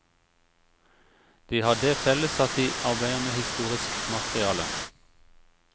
De har det felles at de arbeider med historisk materiale.